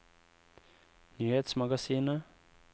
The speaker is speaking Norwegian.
nyhetsmagasinet